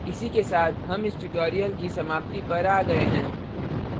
इसी के साथ हम इस tutorial की समाप्ति पर आ गये हैं